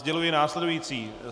Sděluji následující.